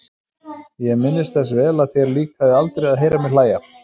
Ég minnist þess vel að þér líkaði aldrei að heyra mig hlæja.